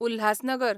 Ulhasnagar